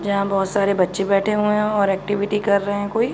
यहाँ बहोत सारे बच्चे बैठे हुए हैं और एक्टीविटी कर रहे हैं कोई --